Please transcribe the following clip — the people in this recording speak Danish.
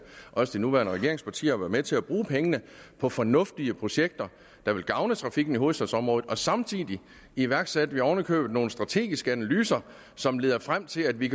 og også de nuværende regeringspartier har været med til at bruge pengene på fornuftige projekter der vil gavne trafikken i hovedstadsområdet samtidig iværksatte vi oven i købet nogle strategiske analyser som leder frem til at vi